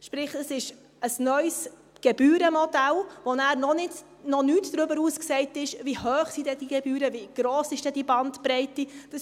Sprich, es ist ein neues Gebührenmodell, das noch nichts darüber aussagt, wie hoch denn diese Gebühren sind, wie gross denn diese Bandbreite ist.